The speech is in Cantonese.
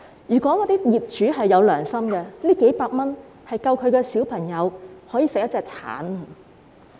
如果業主有良心，這數百元已足夠小朋友每天吃一個橙了。